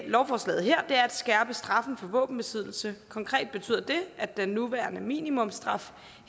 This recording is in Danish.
lovforslaget her er at skærpe straffen for våbenbesiddelse og konkret betyder det at den nuværende minimumsstraf